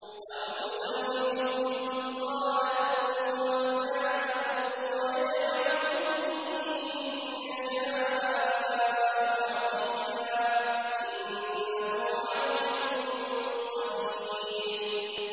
أَوْ يُزَوِّجُهُمْ ذُكْرَانًا وَإِنَاثًا ۖ وَيَجْعَلُ مَن يَشَاءُ عَقِيمًا ۚ إِنَّهُ عَلِيمٌ قَدِيرٌ